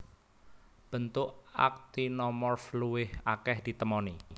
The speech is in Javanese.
Bentuk aktinomorf luwih akèh ditemoni